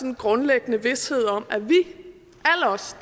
en grundlæggende vished om at vi alle os